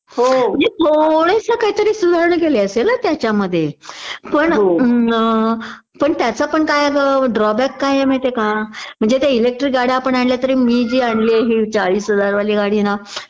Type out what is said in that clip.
म्हणजे थोडंस काहीतरी सुधारणा केली असेल हं त्याच्यामध्ये पण त्याचा पण काय आहे ग ड्राबॅक काय आहे माहिती हे का म्हणजे ते इलेक्टरी गाड्या आपण आणल्या तरी मी जी आणली आहे हि चाळीस हजार वली गाडी ना